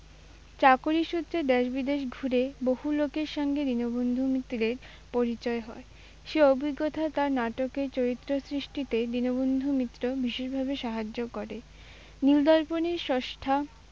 চাকরিসূত্রে দেশ-বিদেশ ঘুরে বহু লোকের সঙ্গে দীনবন্ধু মিত্রের পরিচয় হয়। সেই অভিজ্ঞতা তাঁর নাটকের চরিত্র সৃষ্টিতে দীনবন্ধু মিত্রর বিশেষভাবে সাহায্য করে। নীলদর্পনের স্রষ্টা